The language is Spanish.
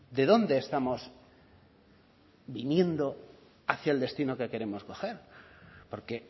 de dónde estamos viniendo hacia el destino que queremos coger porque